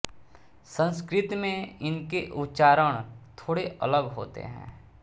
संस्कृत में इनके उच्चारण थोड़े अलग होते हैं